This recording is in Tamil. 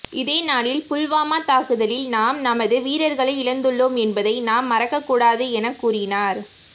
இதே நாளில் புல்வாமா தாக்குதலில் நாம் நமது வீரர்களை இழந்துள்ளோம் என்பதை நாம் மறக்கக் கூடாது என கூறினார்